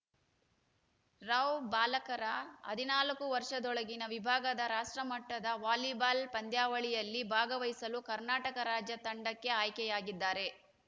ರಾವ್‌ ಬಾಲಕರ ಹದಿನಾಲ್ಕು ವರ್ಷದೊಳಗಿನ ವಿಭಾಗದ ರಾಷ್ಟ್ರಮಟ್ಟದ ವಾಲಿಬಾಲ್‌ ಪಂದ್ಯಾವಳಿಯಲ್ಲಿ ಭಾಗವಹಿಸಲು ಕರ್ನಾಟಕ ರಾಜ್ಯ ತಂಡಕ್ಕೆ ಆಯ್ಕೆಯಾಗಿದ್ದಾರೆ